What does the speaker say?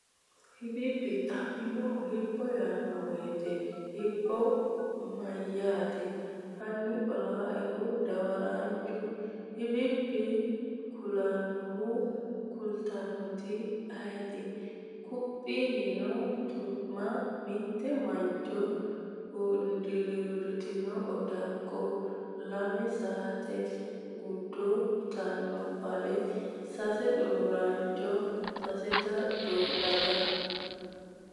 hibibbi Xa’mannohu “Hibbo” yaanno woyte Hibbo mayyaate? Hanni qolannohu dawaraanchu “Hibibbi” kulannoehu kultannoeti ayeeti? Quphi yiino tutuma mite Mancho hunduruurritino odakko lame Saate gudho yitino bale Sase Xuuraancho sasenta daga?